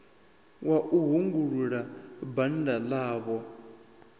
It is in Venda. wa u hungulula bannda ḽavho